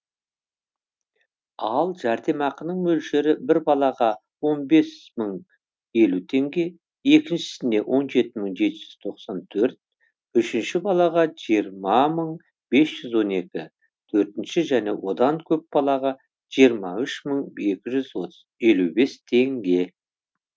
ал жәрдемақының мөлшері бір балаға он бес мың елу теңге екіншісіне он жеті мың жеті жүз тоқсан төрт үшінші балаға жиырма мың бес жүз он екі төртінші және одан көп балаға жиырма үш мың екі жүз елу бес теңге